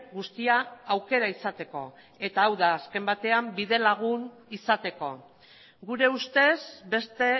guztia aukera izateko eta hau da azken batean bide lagun izateko gure ustez beste